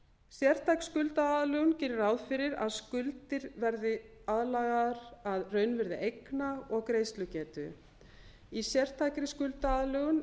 sértæk skuldaaðlögun gerir ráð fyrir að skuldir verði aðlagaðar að raunvirði eigna og greiðslugetu í sértækri skuldaaðlögun